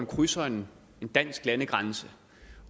krydser en dansk landegrænse